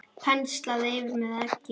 Penslað yfir með eggi.